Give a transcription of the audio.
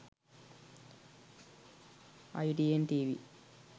itn tv